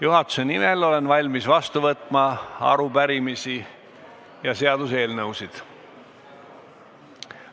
Olen valmis juhatuse nimel vastu võtma arupärimisi ja seaduseelnõusid.